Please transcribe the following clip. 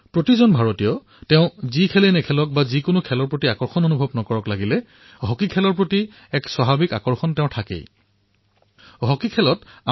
প্ৰত্যেক ভাৰতীয়ৰে লাগিলে তেওঁ যি খেলকেই খেলক অথবা যি খেলতেই ৰুচি নাথাকক কিয় হকীৰ প্ৰতি এক আকৰ্ষণ তেওঁৰ মনত অৱশ্যেই থাকে